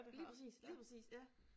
Lige præcis lige præcis ja